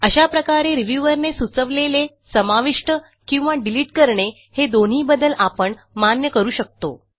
अशा प्रकारे रिव्ह्यूअर ने सुचवलेले समाविष्ट किंवा डिलिट करणे हे दोनही बदल आपण मान्य करू शकतो